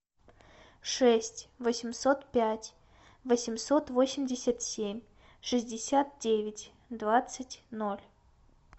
шесть восемьсот пять восемьсот восемьдесят семь шестьдесят девять двадцать ноль